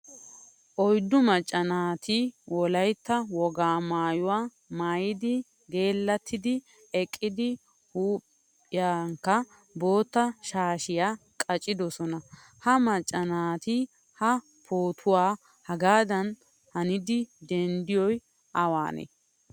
Oyddu macca naati wolaytta wogaa maayuwaa maayidi geelattidi eqqidi huuphphiyankka boottaa shaashiya qaccidosona. Ha macca naati ha pootuwaa hagadan hanidi dendidoy awane?